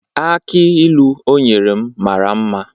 Akị ilu o nyere m mara mma